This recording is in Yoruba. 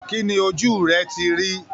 Kí ni ojú rẹ ti rí?